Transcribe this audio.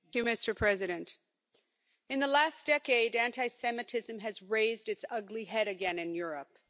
Mr President, in the last decade anti Semitism has raised its ugly head again in Europe.